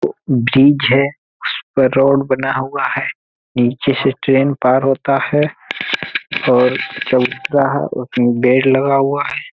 Bridge है। ऊपर road बना हुआ है। नीचे से ट्रेन पार होता है और बेड लगा हुआ है।